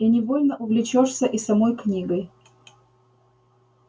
и невольно увлечёшься и самой книгой